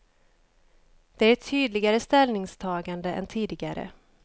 Det är ett tydligare ställningstagande än tidigare.